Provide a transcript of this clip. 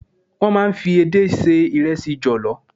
Wọ́n máa ń fi edé se ìrẹsì jọ̀lọ́.